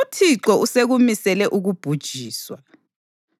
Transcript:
UThixo usekumisele ukubhujiswa.”